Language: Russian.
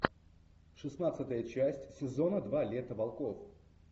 шестнадцатая часть сезона два лето волков